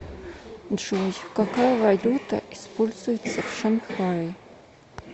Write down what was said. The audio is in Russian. джой какая валюта используется в шанхае